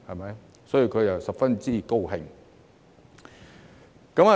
因此，他十分高興。